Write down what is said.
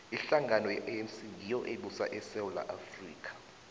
ihlangano ye anc ngiyo ebusa isewula afrika